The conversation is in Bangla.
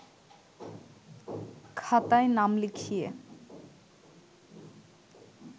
খাতায় নাম লিখিয়ে